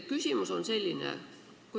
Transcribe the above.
Küsimus on selline.